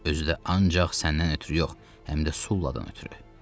Özü də ancaq səndən ötrü yox, həm də Sulladan ötrü.